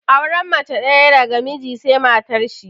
Auren mace ɗaya daga mijin sai matar shi